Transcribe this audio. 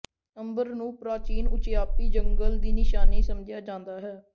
ਅੰਬਰ ਨੂੰ ਪ੍ਰਾਚੀਨ ਉਚਿਆਪੀ ਜੰਗਲ ਦੀ ਨਿਸ਼ਾਨੀ ਸਮਝਿਆ ਜਾਂਦਾ ਹੈ